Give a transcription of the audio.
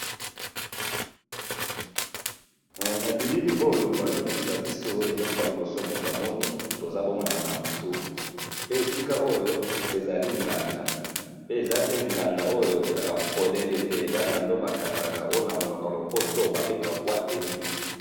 Na bilili oyo bazo lalakisa biso eloko ya liboso moto a moni toza bongaana na butu pe esika oyo ezali nganda pe eza te nganda oyo e zaka polele te , eza nganda ba kangaka oyo na loboko ya lopoto ba bengaka boîte te nuit .